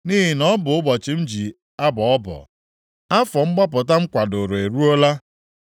Nʼihi na ọ bụ ụbọchị m ji abọ ọbọ; afọ mgbapụta m kwadoro eruola.